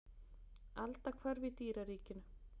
Aldahvörf í dýraríkinu.